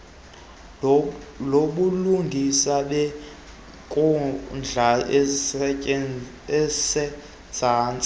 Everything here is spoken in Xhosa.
lobulungisa beenkundla ezisezantsi